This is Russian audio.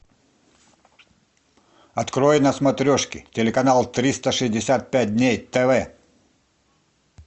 открой на смотрешке телеканал триста шестьдесят пять дней тв